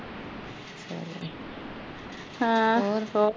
ਹੋਰ